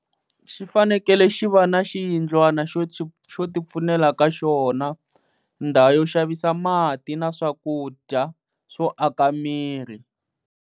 Xi fanekele xi va na xiyindlwana xo xo ti pfunela ka xona, ndhawu yo xavisa mati na swakudya swo aka miri.